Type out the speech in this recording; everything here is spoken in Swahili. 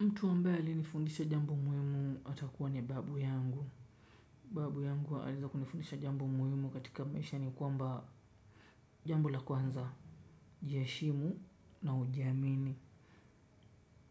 Mtu ambaye alinifundisha jambo muhimu atakuwa ni babu yangu. Babu yangu aliweza kunifundisha jambo muhimu katika maisha ni kwamba jambo la kwanza. Jiheshimu na ujiamini.